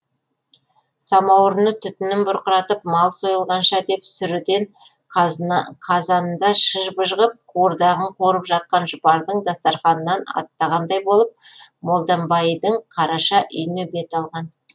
самауырыны түтінін бұрқыратып мал сойылғанша деп сүріден қазанында шыж быж ғып қуырдағын қуырып жатқан жұпардың дастарқанынан аттағандай болып молданбайдың қараша үйіне бет алған